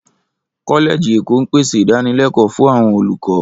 Kọ́lẹ́ẹ̀jì ẹ̀kọ́ ń pèsè ìdánilẹ́kọ̀ọ́ fún àwọn olùkọ́